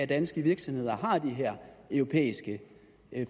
danske virksomheder har de her europæiske